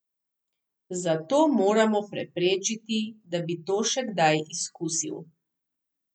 Zato moramo preprečiti, da bi to še kdaj izkusil.